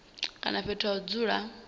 kana fhethu ha u dzula